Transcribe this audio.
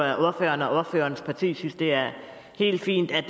at ordføreren og ordførerens parti synes det er helt fint at